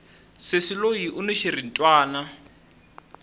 sesi loyi uni xiritwani